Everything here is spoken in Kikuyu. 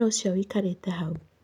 Nũ ũcio wĩkarĩte hau?